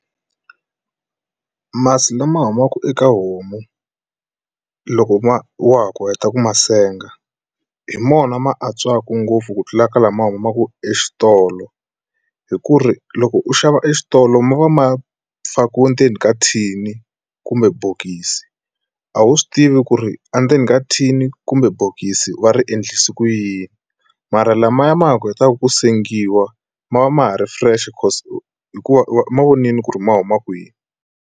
Masi lama humaka eka homu loko ma wa ha ku heta ku ma senga hi mona ma antswaka ngopfu ku tlula ka lama humaka exitolo hi ku ri loko u xava exitolo ma va ma fakiwe ndzeni ka thini kumbe bokisi a wu swi tivi ku ri endzeni ka thini kumbe bokisi va ri endlise ku yini mara lamaya ma ha kotaka ku sengiwa ma va ma ha ri fresh because hikuva ma vonile ku ri ma huma kwini.